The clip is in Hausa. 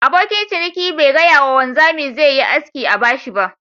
Abokin ciniki ba gaya ma wanzami zai Yi aski a bashi ba.